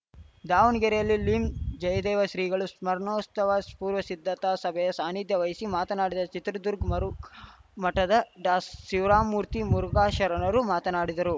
ದಾವಣಗೆರೆಯಲ್ಲಿ ಲಿಂ ಜಯದೇವ ಶ್ರೀಗಳ ಸ್ಮರಣೋಸ್ತವ ಪೂರ್ವ ಸಿದ್ಧತಾ ಸಭೆಯ ಸಾನಿಧ್ಯ ವಹಿಸಿ ಮಾತನಾಡಿದ ಚಿತ್ರದುರ್ಗ ಮರುಘಾ ಮಠದ ಡಾಶಿವಮೂರ್ತಿ ಮುರುಘಾ ಶರಣರು ಮಾತನಾಡಿದರು